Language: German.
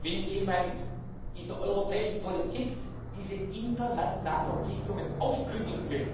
Wenn jemand in der europäischen Politik diese internationalen Verpflichtungen aufkündigen will,